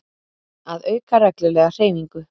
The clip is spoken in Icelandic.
Að auka reglulega hreyfingu.